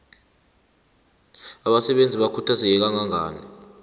abasebenzi bakhuthazeke kangangani